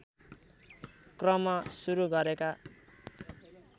क्रम सुरु गरेका